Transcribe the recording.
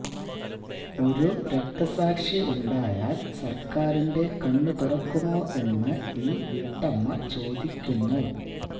ഒരു രക്തസാക്ഷി ഉണ്ടായാല് സര്ക്കാരിന്റെ കണ്ണുതുറക്കുമോ എന്ന് ഈ വീട്ടമ്മ ചോദിക്കുന്നു